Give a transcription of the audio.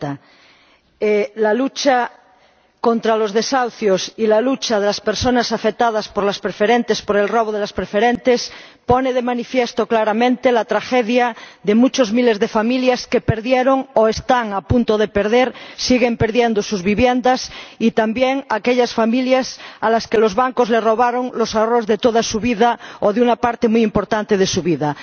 Señora Presidenta, la lucha contra los desahucios y la lucha de las personas afectadas por las preferentes —por el robo de las preferentes— ponen de manifiesto claramente la tragedia de muchos miles de familias que perdieron, están a punto de perder o siguen perdiendo sus viviendas y también de aquellas familias a las que los bancos les robaron los ahorros de toda su vida o de una parte muy importante de su vida.